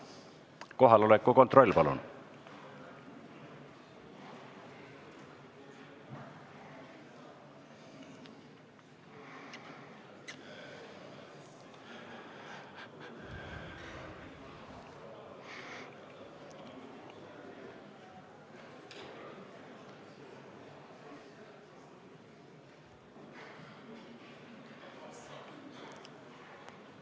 Kohaloleku kontroll, palun!